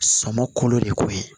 Sɔmɔ kolo de koyi